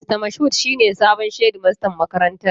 Mista Moshood shi ne sabon shedimastan makarantar.